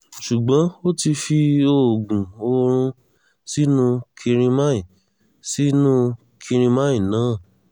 ṣùgbọ́n ó ti fi oògùn oorun sínú kirimine sínú kirimine náà